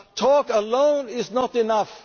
biggest task. Talk alone